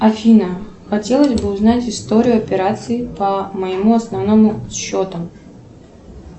афина хотелось бы узнать историю операций по моему основному счету